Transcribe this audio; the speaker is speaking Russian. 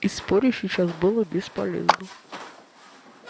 и спорить сейчас было бесполезно